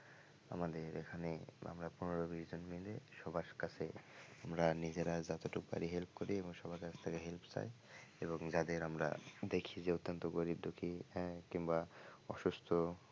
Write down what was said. আমাদের এখানে আমরা পনের বিশ জন মিলে সবার কাছে আমরা নিজেরা যতটুকু পারি help করি এবং সবার কাছ থেকে help চাই এবং যাদের আমরা দেখি যে অত্যন্ত গরীব দুঃখী হ্যাঁ কিংবা অসুস্থ,